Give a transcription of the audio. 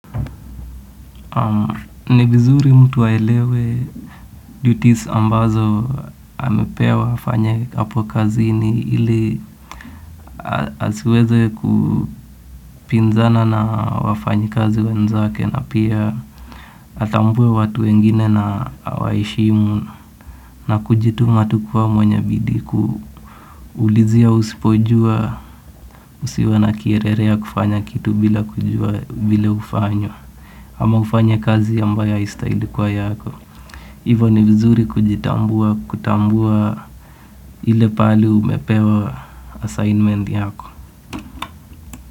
Ni vizuri mtu aelewe duties ambazo amepewa hafanye hapo kazi ni ili asweze kupinzana na wafanyi kazi wenzake na pia atambwe watu wengine na awaeshimu na kujituma tukua mwanyebidi kuulizia usipojua usiwe na kierere ya kufanya kitu bila kujua bila ufanyo. Ama ufanye kazi ambaya istahidi kwa yako. Ivo ni vizuri kujitambua kutambua ile paali umepewa assignment yako.